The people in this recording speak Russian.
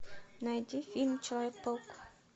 найди фильм человек паук